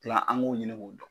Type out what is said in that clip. kilan an k'o ɲini k'o dɔn.